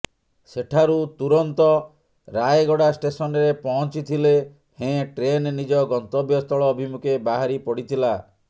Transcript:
ସେଠାରୁ ତୁରନ୍ତ ରାୟଗଡ଼ା ଷ୍ଟେସନରେ ପହଞ୍ଚି ଥିଲେ ହେଁ ଟ୍ରେନ ନିଜ ଗନ୍ତବ୍ୟସ୍ଥଳ ଅଭିମୁଖେ ବାହାରି ପଡିଥିଲା